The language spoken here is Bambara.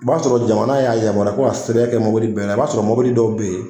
O b'a sɔrɔ jamana y'a yamaruya ko a sɛbɛn kɛ mɔbili bɛɛ la, i b'a sɔrɔ mɔbilii dɔw bɛ yen.